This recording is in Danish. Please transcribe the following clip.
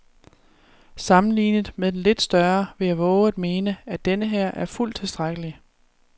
Sammenlignet med den lidt større vil jeg vove at mene, at denneher er fuldt tilstrækkelig.